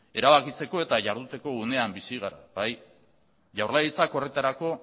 erabakitzeko eta iharduteko unean bizi gara jaurlaritzak horretarako